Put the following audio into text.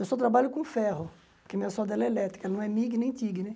Eu só trabalho com ferro, porque minha solda é elétrica, não é mig nem tig, né?